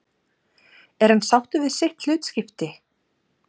Er hann sáttur við sitt hlutskipti?